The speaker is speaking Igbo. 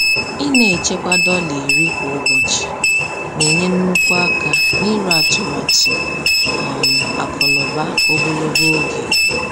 Ịna-echekwa dọla 10 kwa ụbọchị na-enye nnukwu aka n'iru atụmatụ um akụnaụba ogologo oge.